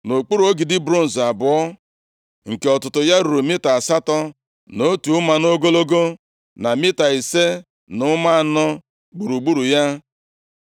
Ọ kpụrụ ogidi bronz abụọ, nke ọtụtụ ya ruru mita asatọ na otu ụma nʼogologo, na mita ise na ụma anọ gburugburu ya.